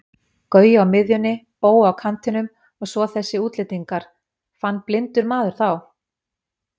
Gaui á miðjunni, Bói á kantinum og svo þessir útlendingar, fann blindur maður þá?